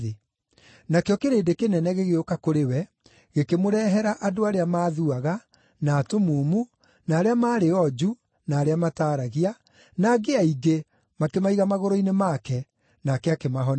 Nakĩo kĩrĩndĩ kĩnene gĩgĩũka kũrĩ we, gĩkĩmũrehera andũ arĩa maathuaga, na atumumu, na arĩa maarĩ onju na arĩa mataaragia, na angĩ aingĩ, makĩmaiga magũrũ-inĩ make; nake akĩmahonia.